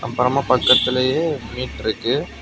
அப்புறமா பக்கத்துலையே மீட் இருக்கு.